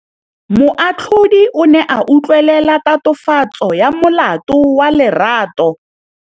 Moatlhodi o ne a utlwelela tatofatsô ya molato wa Lerato.